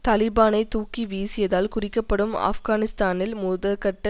தலிபானைத் தூக்கி வீசியதால் குறிக்கப்படும் ஆப்கானிஸ்தானில் முதற்கட்ட